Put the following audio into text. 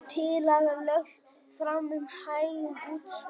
Tillaga lögð fram um hækkun útsvars